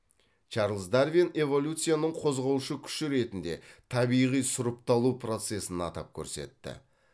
чарльз дарвин эволюцияның қозғаушы күші ретінде табиғи сұрыпталу процессін атап көрсетті